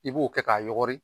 I b'o kɛ k'a yɔgɔri